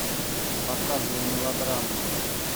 показывай мелодраму